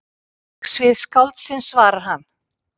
Verksvið skáldsins svarar hann.